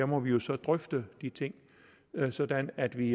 må vi så drøfte de ting sådan at vi